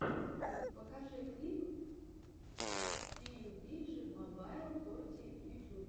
покажи клип пиюбиджи мобайл торти в ютюбе